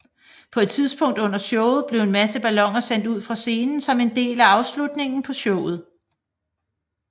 På et tidspunkt under showet blev en masse balloner sendt ud fra scenen som en del af afslutningen på showet